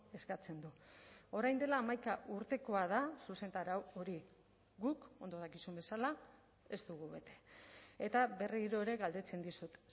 eskatzen du orain dela hamaika urtekoa da zuzentarau hori guk ondo dakizun bezala ez dugu bete eta berriro ere galdetzen dizut